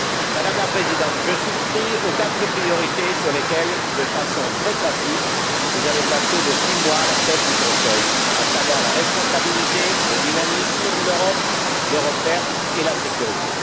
Madame la Présidente, je souscris aux quatre priorités sous lesquelles, de façon très classique, vous avez placé vos six mois à la tête du Conseil, à savoir, la responsabilité, le dynamisme de l'Europe, l'Europe verte et la sécurité.